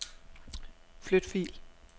Flyt fil.